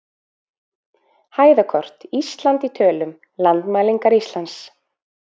Hæðakort: Ísland í tölum- Landmælingar Íslands.